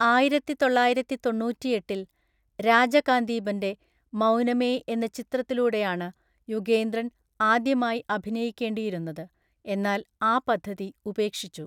ആയിരത്തിതൊള്ളായിരത്തിതൊണ്ണൂറ്റിഎട്ടില്‍ രാജകാന്തീബന്‍റെ മൗനമേ എന്ന ചിത്രത്തിലൂടെയാണ് യുഗേന്ദ്രൻ ആദ്യമായി അഭിനയിക്കേണ്ടിയിരുന്നത്, എന്നാൽ ആ പദ്ധതി ഉപേക്ഷിച്ചു.